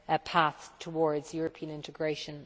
path towards European integration.